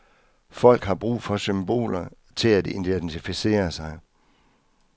Folk har brug for symboler til at identificere sig.